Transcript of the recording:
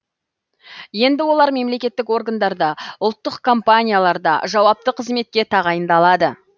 енді олар мемлекеттік органдарда ұлттық компанияларда жауапты қызметке тағайындалады